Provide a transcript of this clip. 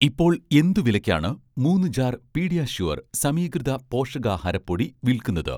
ഇപ്പോൾ എന്ത് വിലയ്ക്കാണ് മൂന്ന് ജാർ 'പീഡിയാഷ്യൂർ' സമീകൃത പോഷകാഹാര പൊടി വിൽക്കുന്നത്?